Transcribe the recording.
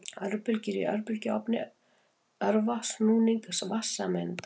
Örbylgjur í örbylgjuofni örva snúning vatnssameinda.